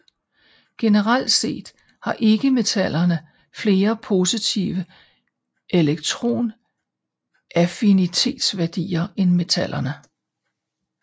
Generelt set har ikkemetallerne flere positive elektronaffinitetsværdier end metallerne